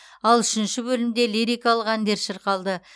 ал үшінші бөлімде лирикалық әндер шырқалды